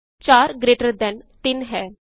4 greater than 3 ਹੈ